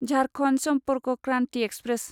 Jharkhand Sampark Kranti express